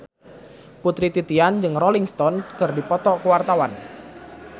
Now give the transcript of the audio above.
Putri Titian jeung Rolling Stone keur dipoto ku wartawan